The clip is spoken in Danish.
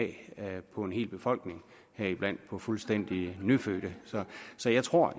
på en hel befolkning heriblandt på fuldstændig nyfødte så jeg tror